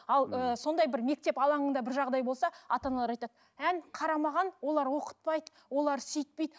ал ыыы сондай бір мектеп алаңында бір жағдай болса ата аналар айтады әні қарамаған олар оқытпайды олар сөйтпейді